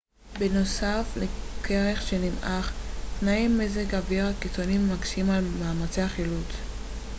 בנוסף לקרח שנמעך תנאי מזג האוויר הקיצוניים מקשים על מאמצי החילוץ